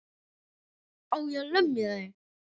Á ég að lemja þig?